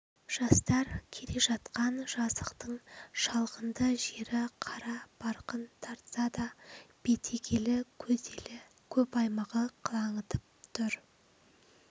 жастар келе жатқан жазықтың шалғынды жері қара барқын тартса да бетегелі көделі көп аймағы қылаңытып тұр